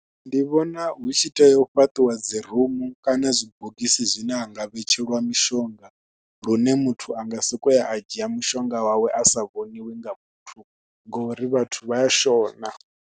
Ndi vhona hu tshi tea u fhaṱiwa dzi rumu kana zwibogisi zwine ha nga vhetshelwa mishonga, lune muthu a nga sokou ya a dzhia mushonga wawe a sa vhoniwi nga muthu ngori vhathu vha ya shona.